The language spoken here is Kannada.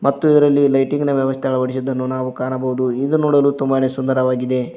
ಮತ್ತು ಇದರಲ್ಲಿ ಲೈಟಿಂಗ್ ನ ವ್ಯವಸ್ಥೆ ಅಳವಡಿಸಿರುವುದನ್ನು ನಾವು ಕಾಣಬಹುದು ಇದು ನೋಡೋಲು ತುಂಬಾನೇ ಸುಂದರವಾಗಿದೆ.